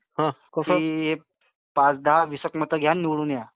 हा, कसं की पाच दहा, वीस एक मत घ्या आणि निवडून या.